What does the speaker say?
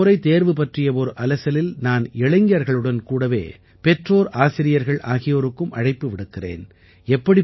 இந்த முறை தேர்வு பற்றிய ஓர் அலசலில் நான் இளைஞர்களுடன் கூடவே பெற்றோர் ஆசிரியர்கள் ஆகியோருக்கும் அழைப்பு விடுக்கிறேன்